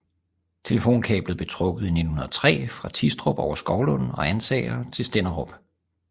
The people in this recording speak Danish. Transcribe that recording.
Telefonkablet blev trukket i 1903 fra Tistrup over Skovlund og Ansager til Stenderup